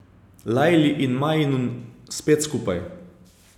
Lajli in Majnun, spet skupaj.